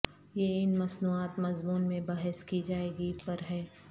یہ ان مصنوعات مضمون میں بحث کی جائے گی پر ہے